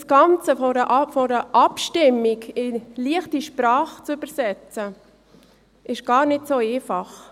Das Ganze vor einer Abstimmung in «leichte Sprache» zu übersetzen, ist gar nicht so einfach.